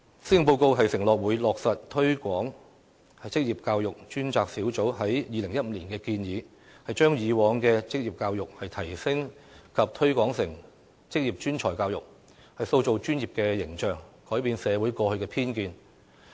施政報告承諾會落實推廣職業教育專責小組在2015年的建議，把以往的職業教育提升及推廣成職業專才教育，塑造專業的形象，改變社會過去的偏見。